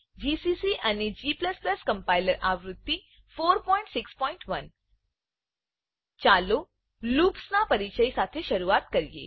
GCC અને g compiler આવૃત્તિ 461 ચાલો લૂપ્સ લુપ્સના પરીચય સાથે શરૂઆત કરીએ